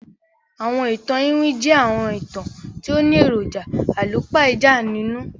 Àwọn ìtàn iwin jẹ àwọn ìtàn ti o ni èròjà àlùpàídà nínú